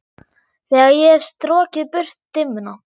Þegar ég hef strokið burt dimmuna.